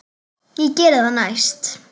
Ég geri það næst.